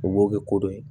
U b'o kɛ ko dɔ ye